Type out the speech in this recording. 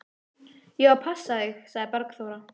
Ég á að passa þig, sagði Bergþóra.